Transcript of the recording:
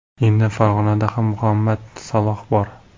Endi Farg‘onada ham Muhammad Saloh bor.